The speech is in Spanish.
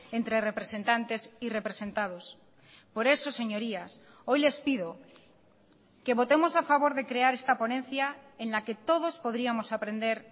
entre representantes y representados por eso señorías hoy les pido que votemos a favor de crear esta ponencia en la que todos podríamos aprender